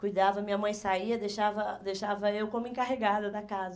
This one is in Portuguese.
Cuidava, minha mãe saía e deixava deixava eu como encarregada da casa.